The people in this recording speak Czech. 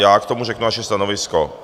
Já k tomu řeknu naše stanovisko.